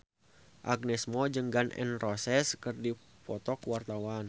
Agnes Mo jeung Gun N Roses keur dipoto ku wartawan